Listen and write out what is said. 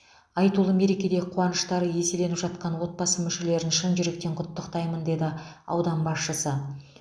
айтулы мерекеде қуаныштары еселеніп жатқан отбасы мүшелерін шын жүректен құттықтаймын деді аудан басшысы